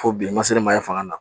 Fo bilen ma se ne ma yan fanga na